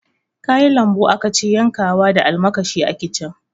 Kayan lambu akace yankawa da almakashi a kicin